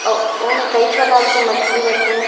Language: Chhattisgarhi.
अ ऊ ओमे कई प्रकार के मछली रथे --